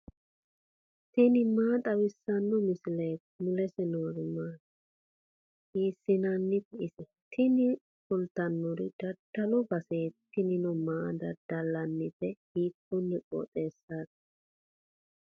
tini maa xawissanno misileeti ? mulese noori maati ? hiissinannite ise ? tini kultannori daddalu baseeti tinino maa daddallannite hiikkonne qooxeessaati.